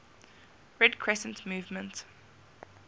red crescent movement